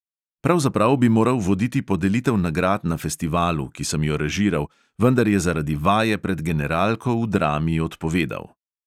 Pravzaprav bi moral voditi podelitev nagrad na festivalu, ki sem jo režiral, vendar je zaradi vaje pred generalko v drami odpovedal.